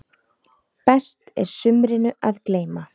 Best er sumrinu að gleyma.